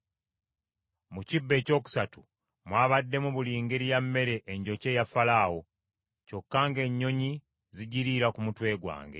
Mu kibbo ekyokusatu mwabaddemu buli ngeri ya mmere enjokye eya Falaawo. Kyokka ng’ennyonyi zigiriira ku mutwe gwange.”